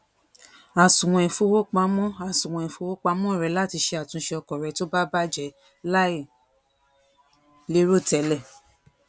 asuwon ifowopamo asuwon ifowopamo re lati se atunse oko re to baje lai lero tele